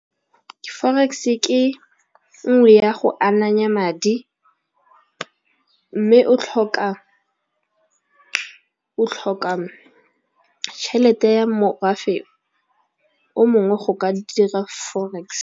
Forex ke nngwe ya go ananya madi, mme o tlhoka tšhelete ya morafe o mongwe go ka dira forex.